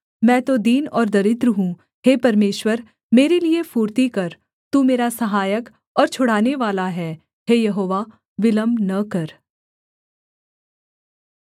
मैं तो दीन और दरिद्र हूँ हे परमेश्वर मेरे लिये फुर्ती कर तू मेरा सहायक और छुड़ानेवाला है हे यहोवा विलम्ब न कर